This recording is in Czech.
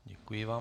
Děkuji vám.